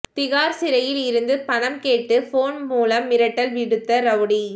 திஹார் சிறையில் இருந்து பணம் கேட்டு போன் மூலம் மிரட்டல் விடுத்த ரவுடி